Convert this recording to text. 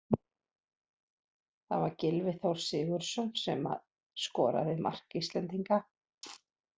Það var Gylfi Þór Sigurðsson sem að skoraði mark Íslendinga.